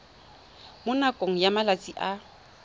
mo nakong ya malatsi a